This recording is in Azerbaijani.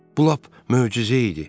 Bu lap möcüzə idi.